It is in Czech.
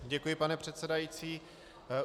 Děkuji, pane předsedající.